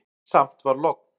Samt var logn.